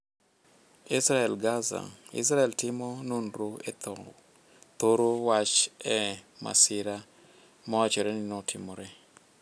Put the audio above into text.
Israel-Gaza: Israel timo nonro e thoro wach e masira mawachore ni notimore.